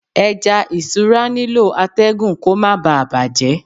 Ẹja isura nílò atẹgun kó má bà bàjẹ́.